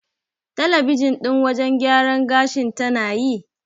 Talabijin ɗin wajen gyaran gashin tana yi?